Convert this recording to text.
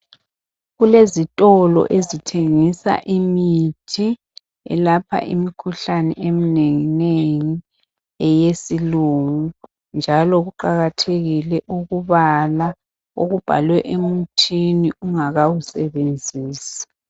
Kulezitolo ezithengisa imithi elapha imkhuhlane eminengi nengi eyesilumo. Njalo kuqakathekile ukubala okubhalwe emuthini ungakawusebenzisi.